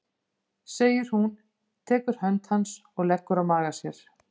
segir hún, tekur hönd hans og leggur á magann á sér.